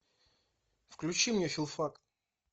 включи мне филфак